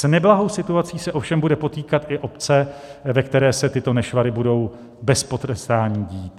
S neblahou situací se ovšem budou potýkat i obce, ve kterých se tyto nešvary budou bez potrestání dít.